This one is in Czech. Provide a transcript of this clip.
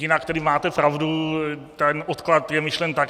Jinak tedy máte pravdu, ten odklad je myšlen tak.